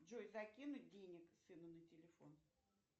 джой закинуть денег сыну на телефон